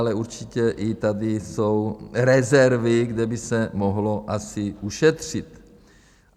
Ale určitě i tady jsou rezervy, kde by se mohlo asi ušetřit.